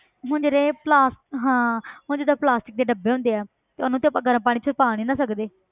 ਹੁਣ ਜਿਹੜੇ ਪਲਾਸ~ ਹਾਂ ਹੁਣ ਜਿੱਦਾਂ plastic ਦੇ ਡੱਬੇ ਹੁੰਦੇ ਆ ਤੇ ਉਹਨੂੰ ਤਾਂ ਆਪਾਂ ਗਰਮ ਪਾਣੀ 'ਚ ਪਾ ਨੀ ਨਾ ਸਕਦੇ।